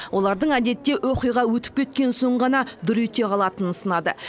олардың әдетте оқиға өтіп кеткен соң ғана дүр ете қалатынын сынады